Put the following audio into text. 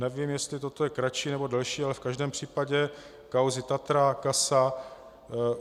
Nevím, jestli toto je kratší, nebo delší, ale v každém případě kauzy TATRA, CASA...